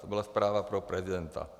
To byla zpráva pro prezidenta.